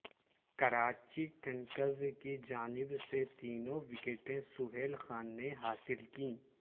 Karachi Kings کی جانب سے تینوں وکٹیں سہیل خان نے حاصل کیں